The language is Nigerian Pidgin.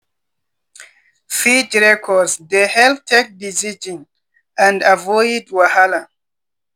feed records dey help take decisions and avoid wahala.